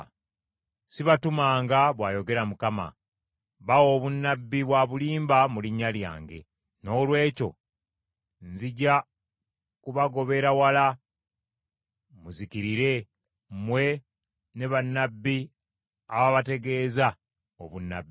‘Sibatumanga,’ bw’ayogera Mukama . ‘Bawa obunnabbi bwa bulimba mu linnya lyange. Noolwekyo, nzija kubagobera wala muzikirire, mmwe ne bannabbi ababategeeza obunnabbi.’ ”